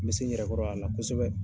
Me se n yɛrɛ kɔrɔ a la kosɛbɛ.